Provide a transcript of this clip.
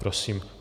Prosím.